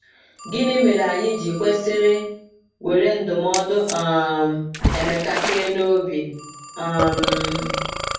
Gịnị mere anyị ji kwesịrị were ndụmọdụ um Emeka kee n’obi? um